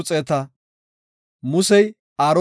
Kumetha asaa tayboy 603,550.